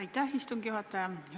Aitäh, istungi juhataja!